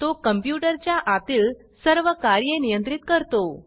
तो कंप्यूटर च्या आतील सर्व कार्ये नियंत्रित करतो